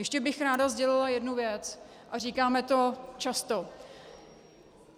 Ještě bych ráda sdělila jednu věc, a říkáme to často.